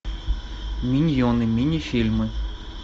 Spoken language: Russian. миньоны мини фильмы